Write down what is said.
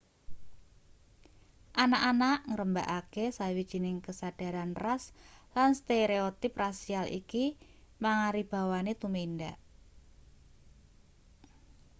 anak-anak ngrembakakake sawijining kesadaran ras lan stereotip rasial iki mangaribawani tumindak